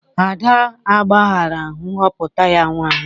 Ada agbaghara nhọpụta ya ụnyahụ